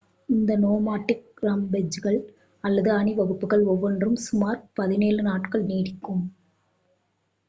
இந்த நோமாடிக் ரம்பெஜ்கள் அல்லது அணிவகுப்புகள் ஒவ்வொன்றும் சுமார் 17 நாட்கள் நீடிக்கும்